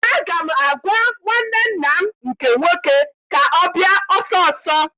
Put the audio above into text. Aga m agwa nwanne nna m nke nwoke ka ọ bịa ọsọ ọsọ!